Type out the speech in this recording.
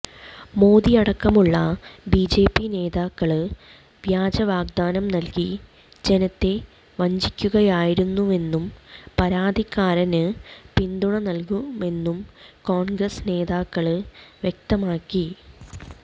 മോദിയടക്കമുള്ള BJP നേതാക്കള് വ്യാജവാഗ്ദാനം നല്കി ജനത്തെ വഞ്ചിക്കുകയായിരുന്നുവെന്നും പരാതിക്കാരന് പിന്തുണ നല്കുമെന്നും കോണ്ഗ്രസ് നേതാക്കള് വ്യക്തമാക്കി